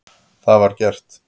Það var gert.